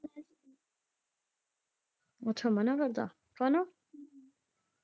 ਅੱਛਾ ਮਨ੍ਹਾ ਕਰਦਾ ਹਨਾ।